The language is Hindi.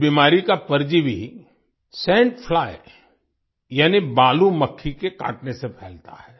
इस बीमारी का परजीवी सैंड फ्लाई यानि बालू मक्खी के काटने से फैलता है